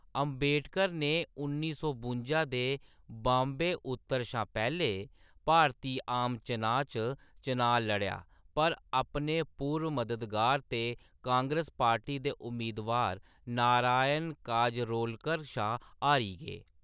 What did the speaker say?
अंबेडकर ने उन्नी सौ बुंजा दे बाम्बे उत्तर शा पैह्‌‌‌लें भारती आम चनाऽ च चनाऽ लड़ेआ, पर अपने पूर्व मददगार ते कांग्रेस पार्टी दे उम्मेदवार नारायण काजरोलकर शा हारी गे।